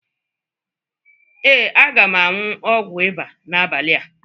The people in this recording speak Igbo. Ee, aga m añyu ọgwu ịba na-abania